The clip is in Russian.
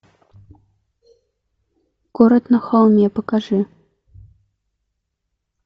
город на холме покажи